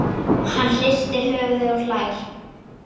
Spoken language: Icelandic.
Hann hristir höfuðið og hlær.